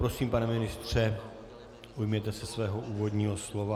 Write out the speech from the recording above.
Prosím, pane ministře, ujměte se svého úvodního slova.